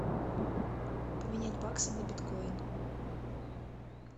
поменять баксы на биткоин